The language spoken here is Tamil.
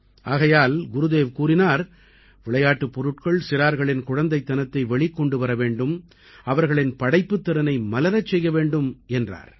ஆகையால் குருதேவ் கூறினார் விளையாட்டுப் பொருட்கள் சிறார்களின் குழந்தைத்தனத்தை வெளிக் கொண்டு வர வேண்டும் அவர்களின் படைப்புத் திறனை மலரச் செய்ய வேண்டும் என்றார்